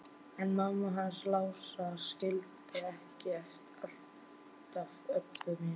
En mamma hans Lása skildi ekki alltaf Öbbu hina.